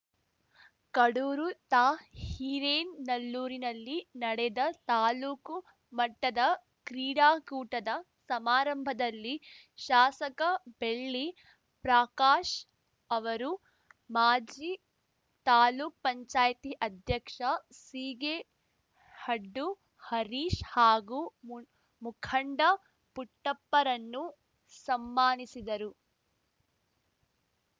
ಕಡೂರು ತಾ ಹಿರೇನಲ್ಲೂರಿನಲ್ಲಿ ನಡೆದ ತಾಲೂಕು ಮಟ್ಟದ ಕ್ರೀಡಾಕೂಟದ ಸಮಾರಂಭದಲ್ಲಿ ಶಾಸಕ ಬೆಳ್ಳಿ ಪ್ರಕಾಶ್‌ ಅವರು ಮಾಜಿ ತಾಲೂಕು ಪಂಚಾಯತಿ ಅಧ್ಯಕ್ಷ ಸೀಗೇಹಡ್ದು ಹರೀಶ್‌ ಹಾಗೂ ಮುಂಡ್ ಮುಖಂಡ ಪುಟ್ಟಪ್ಪರನ್ನು ಸಮ್ಮಾನಿಸಿದರು